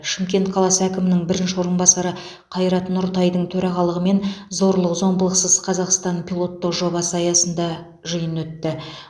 шымкент қаласы әкімінің бірінші орынбасары қайрат нұртайдың төрағалығымен зорлық зомбылықсыз қазақстан пилоттық жобасы аясында жиын өтті